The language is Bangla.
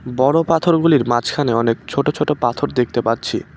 বড় পাথরগুলির মাঝখানে অনেক ছোট ছোট পাথর দেখতে পাচ্ছি।